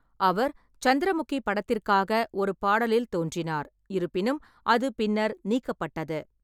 அவர் 'Chandramukhi' படத்திற்காக ஒரு பாடலில் தோன்றினார், இருப்பினும், அது பின்னர் நீக்கப்பட்டது.